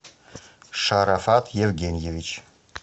шарафат евгеньевич